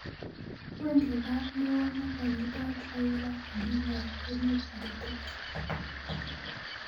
wendi raa neo negony'itot raila odinga emet agetugul